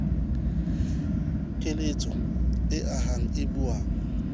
keletso e ahang e buang